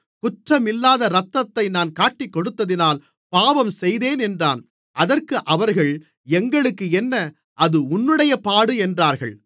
குற்றமில்லாத இரத்தத்தை நான் காட்டிக்கொடுத்ததினால் பாவம் செய்தேன் என்றான் அதற்கு அவர்கள் எங்களுக்கென்ன அது உன்னுடைய பாடு என்றார்கள்